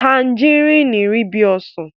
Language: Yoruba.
tanjaríìnì rí bí ọsàn.